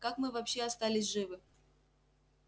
как мы вообще остались живы